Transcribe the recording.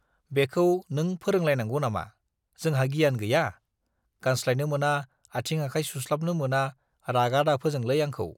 बेखौ नों फोरोंलायनांगौ नामा? जोंहा गियान गैया? गानस्लायनो मोना, आथिं आखाय सुस्लाबनो मोना रागा दाफोजोंलै आंखौ।